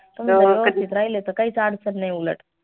राहिले त काहीच आडचन नाई उलट